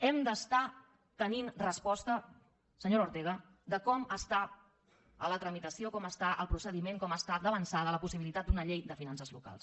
hem d’estar tenint resposta senyora ortega de com està la tramitació com està el procediment com està d’avançada la possibilitat d’una llei de finances locals